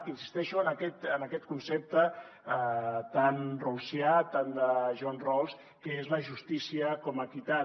insisteixo en aquest concepte tan rawlsià tant de john rawls que és la justícia com a equitat